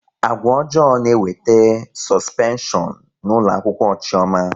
Agwa ọjọọ na-ewete sọspeshọn n'ụlọakwụkwọ Chiọma